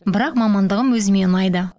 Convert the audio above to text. бірақ мамандығым өзіме ұнайды